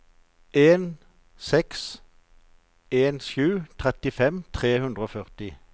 en seks en sju trettifem tre hundre og førti